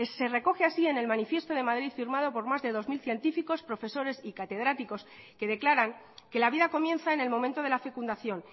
se recoge así en el manifiesto de madrid firmado por más de dos mil científicos profesores y catedráticos que declaran que la vida comienza en el momento de la fecundación